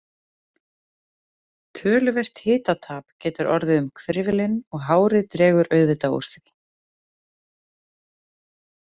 Töluvert hitatap getur orðið um hvirfilinn og hárið dregur auðvitað úr því.